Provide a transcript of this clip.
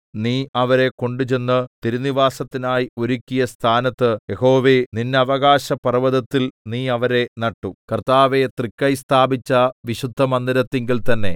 നീ അവരെ കൊണ്ടുചെന്ന് തിരുനിവാസത്തിനായി ഒരുക്കിയ സ്ഥാനത്ത് യഹോവേ നിന്നവകാശപർവ്വതത്തിൽ നീ അവരെ നട്ടു കർത്താവേ തൃക്കൈ സ്ഥാപിച്ച വിശുദ്ധ മന്ദിരത്തിങ്കൽ തന്നേ